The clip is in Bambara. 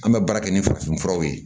An bɛ baara kɛ ni farafinfuraw ye